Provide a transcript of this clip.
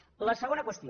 la segona qüestió